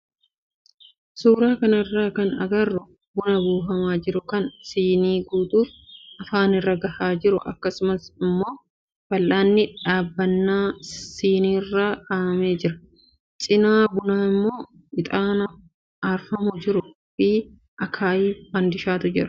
Suuraa kanarraa kan agarru buna buufamaa jiru kan siinii guutuuf afaanirra gahaa jiru akkasumas immoo fal'aanni dhaabbannaa siiniirra kaa'amee jirudha. Cinaa bunaa immoo ixaanaa aarfamaa jiruu fi akaayii fandishaatu jiru.